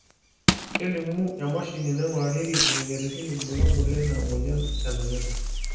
kelimu emashini naingurarieki imoyiaritin irbulabol lena moyian e nang'ida